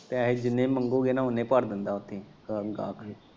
ਪੈਹੇ ਜਿੰਨੇ ਮੰਗੋਗੇ ਨਾ ਉਨੇ ਹੀ ਭਰ ਦਿੰਦਾ ਉੱਥੇ ਹੀ .